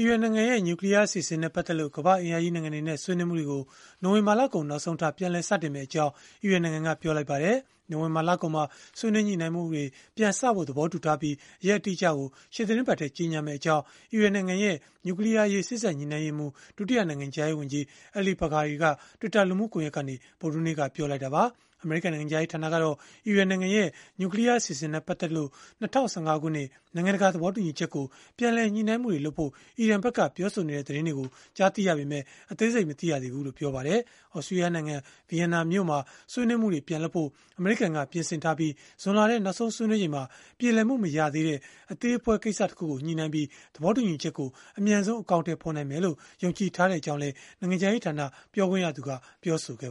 ီရန်နိုင်ငံရဲ့ နျူကလီးယားအစီအစဉ်နဲ့ ပတ်သက်လို့ ကမ္ဘာ့အင်အားကြီး နိုင်ငံတွေနဲ့ ဆွေးနွေးမှုတွေကို နိုဝင်ဘာလကုန် နောက်ဆုံးထား ပြန်လည်စတင်မှာဖြစ်ကြောင်း အီရန်နိုင်ငံက ပြောဆိုလိုက်ပါတယ်။ နိုဝင်ဘာလကုန်မှာ ဆွေးနွေးညှိနှိုင်းမှုတွေ ပြန်စဖို့ သဘောတူထားပြီး၊ ရက်အတိအကျကို ရှေ့သီတင်းပတ်မှာ ကြေညာမှာဖြစ်ကြောင်း အီရန်နိုင်ငံရဲ့ နျူကလီးယားအရေး စေ့စပ်ညှိနှိုင်းရေးမှူး၊ ဒုတိယနိုင်ငံခြားရေး ဝန်ကြီး Ali Bagheri က Twitter လူမှုကွန်ရက်မှာ ဗုဒ္ဓဟူးနေ့က ပြောလိုက်တာပါ။ အမေရိကန် နိုင်ငံခြားရေးဌာနကတော့ အီရန်နိုင်ငံရဲ့ နျူကလီးယား အစီအစဉ်နဲ့ ပတ်သက်လို့ ၂၀၁၅ ခုနှစ် နိုင်ငံတကာ သဘောတူညီချက်ကို ပြန်လည်ညှိနှိုင်းမှုတွေလုပ်ဖို့ အီရန်ဖက်က ပြောဆိုနေတဲ့ သတင်းတွေ ကြားသိရပေမဲ့ အသေးစိတ်မသိကြောင်း ပြောပါတယ်။ သြစတြီးယားနိုင်ငံ ဗီယန်နာမြို့မှာ ဆွေးနွေးမှုတွေ ပြန်လုပ်ဖို့ အမေရိကန်က ပြင်ဆင်ထားပြီး၊ ဇွန်လထဲ နောက်ဆုံးဆွေးနွေးချိန်မှာ ပြေလည်မှု မရသေးတဲ့ အသေးအဖွဲ ကိစ္စတချို့ကို ညှိနှိုင်းပြီး သဘောတူညီချက်ကို အမြန်ဆုံး အကောင်အထည်ဖော်နိုင်မယ်လို့ ယုံကြည်ထားကြောင်းလည်း နိုင်ငံခြားရေးဌာန ပြောခွင့်ရသူက ပြောဆိုခဲ့